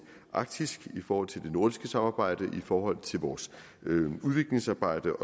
arktis i forhold til det nordiske samarbejde i forhold til vores udviklingsarbejde